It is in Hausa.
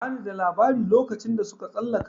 Ba ni da labari lokacin da suka tsalaka